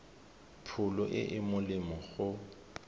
pholo e e molemo go